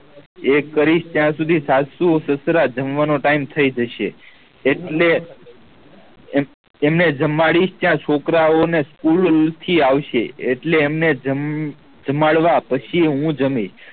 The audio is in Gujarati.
એક કરીશ ત્યાં સુધી સાસુ સસરા જમવાનો time થઇ જશે એટલે એમને જમાડી ત્યાં છોકરાઓં ને school થી આવશે એટલે અમને જમ જમાડવા પછી હું જામી